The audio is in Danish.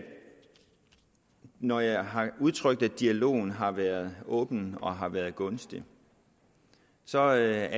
når jeg har udtrykt at dialogen har været åben og har været gunstig så er